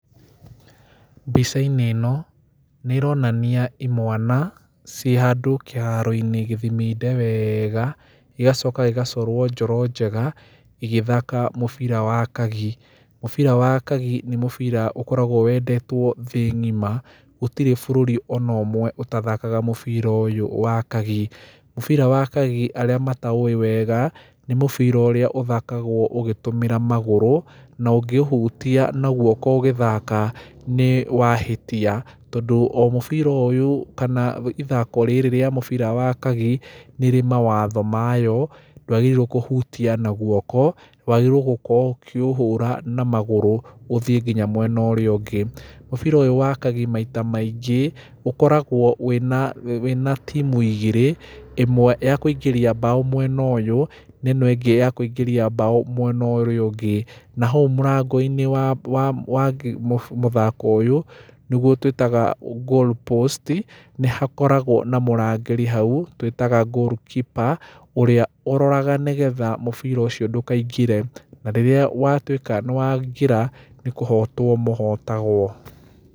Mbica-inĩ ĩno nĩ ĩronania imwana ciĩ handũ kĩharo-inĩ gĩthiminde wega, gĩgacoka gĩgacorwo njoro njega, igĩthaka mũbira wa kagi. Mũbira wa kagi nĩ mũbira ũkoragwo wendetwo thĩĩ ng'ima, gũtirĩ bũrũri ona ũmwe ũtathakaga mũbira ũyũ wa kagi. Mũbira wa kagi arĩa mataũĩ wega, nĩ mũbira ũrĩa ũthakagwo ũgĩtũmĩra magũrũ na ũngĩũhutia na guoko ũgĩthaka, nĩwahĩtia. Tondũ o mũbira ũyũ kana ithako rĩrĩ rĩa mũbira wa kagi nĩ ĩrĩ mawatho mayo, ndwagĩrĩirwo kũhutia na moko, wagĩrĩirwo gũkorwo ũkĩũhũra na magũrũ ũthiĩ nginya mwena ũrĩa ũngĩ. Mũbira ũyũ wa kagi maita maingĩ, ũkoragwo wĩna timu igĩrĩ, ĩmwe ya kũingĩria mbaũ mwena ũyũ, na ĩno ĩngĩ ya kũingĩria mbaũ mwena ũrĩa ũngĩ. Na hau mũrango-inĩ wa mũthako ũyũ, nĩguo twĩtaga goalpost, nĩ hakporagwo na mũrangĩrĩ hau ũrĩa twĩtaga goal keeper ũroraga nĩgetha mũbira ũcio ndũkaingĩre, na rĩrĩa watuĩka nĩwaingĩra, nĩkũhotwo mũhotagwo.